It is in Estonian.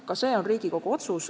Ka see on Riigikogu otsus.